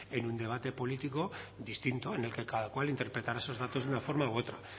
en un debate político distinto en el que cada cual interpretará esos datos de una forma u otra